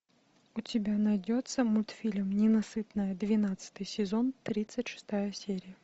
у тебя найдется мультфильм ненасытная двенадцатый сезон тридцать шестая серия